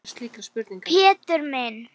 Pétur minn.